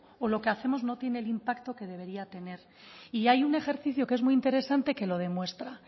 o lo que hacemos no tiene el impacto que debería tener y hay un ejercicio que es muy interesante que lo demuestra